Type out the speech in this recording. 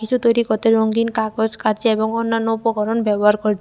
কিসু তৈরি করতে রঙ্গিন কাগজ কাঁচি এবং অন্যান্য উপকরণ ব্যবহার করছে।